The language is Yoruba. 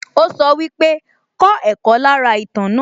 Ó sọ pé wípé, 'kọ́ ẹ̀kọ́ lára ìtàn náà'